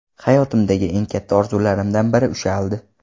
Hayotimdagi eng katta orzularimdan biri ushaldi.